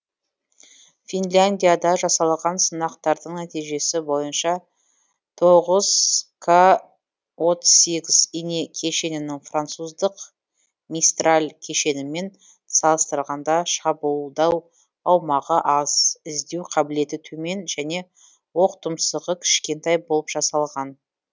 финляндияда жасалған сынақтардың нәтижесі бойынша тоғыз к отыз сегіз ине кешенінің француздық мистарль кешенімен салыстырғанда шабуылдау аумағы аз іздеу қабілеті төмен және оқтұмсығы кішкентай болып жасалған